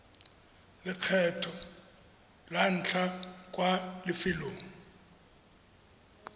lekgetlho la ntlha kwa lefelong